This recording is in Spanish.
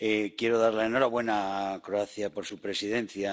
Quiero darle la enhorabuena a Croacia por su Presidencia.